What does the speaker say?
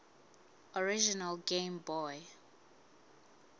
original game boy